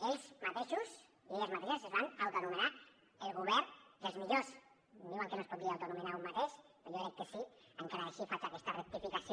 ells mateixos i elles mateixes es van autoanomenar el govern dels millors em diuen que no es pot dir autoanomenar un mateix però jo crec que sí tot i així faig aquesta rectificació